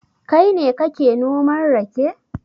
Kai ne kake noman rake?